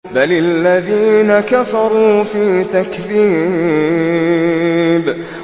بَلِ الَّذِينَ كَفَرُوا فِي تَكْذِيبٍ